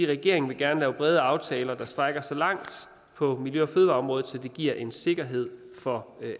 regeringen vil gerne lave brede aftaler der strækker sig langt på miljø og fødevareområdet så det giver en sikkerhed for